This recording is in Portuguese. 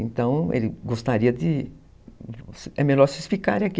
Então, ele gostaria de... É melhor vocês ficarem aqui.